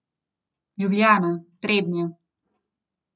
Ljubljana, Trebnje.